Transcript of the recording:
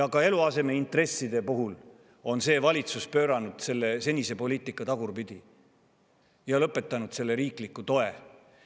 Ka eluasemeintresside puhul on see valitsus pööranud senise poliitika tagurpidi ja lõpetanud riikliku toe andmise.